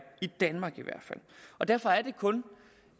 i danmark derfor er det kun